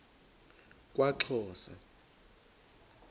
kwaxhosa